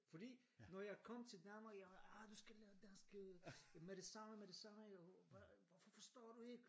Fordi når jeg kom til Danmark jeg har arh du skal lære dansk med det samme med det samme hvorfor forstår du ikke